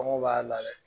Kɔngɔ b'a la dɛ